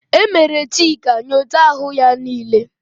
E mere Chika nyocha ahụ ya niile.